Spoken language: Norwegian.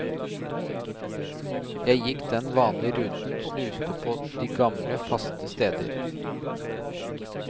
Jeg gikk den vanlige ruten, snuste på de gamle, faste steder.